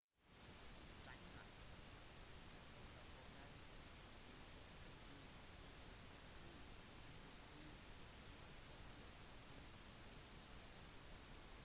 xinhua rapporterte at statlige etterforskere hentet to «svarte bokser» på onsdag